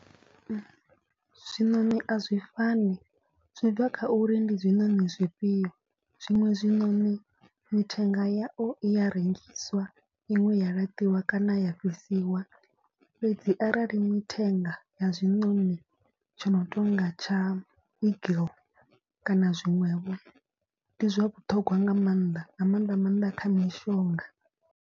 Zwiṋoni a zwi fani zwi bva kha uri ndi zwiṋoni zwifhio zwiṅwe zwiṋoni mithenga yao i ya rengiswa. Iṅwe ya laṱiwa kana ya fhisiwa fhedzi arali mithenga ya zwiṋoni tsho no tonga tsha eagle kana zwiṅwevho ndi zwa vhuṱhogwa nga maanḓa. Nga maanḓa maanḓa kha mishonga.